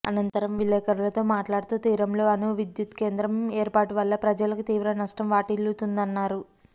అనంతరం విలేఖరులతో మాట్లాడుతూ తీరంలో అణువిద్యుత్ కేంద్రం ఏర్పాటువల్ల ప్రజలకు తీవ్ర నష్టం వాటిల్లుతుందన్నారు